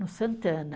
No Santana.